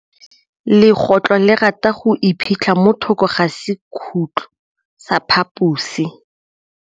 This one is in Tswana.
Legôtlô le rata go iphitlha mo thokô ga sekhutlo sa phaposi.